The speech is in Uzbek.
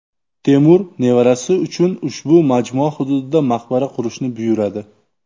Temur nevarasi uchun ushbu majmua hududida maqbara qurishni buyuradi.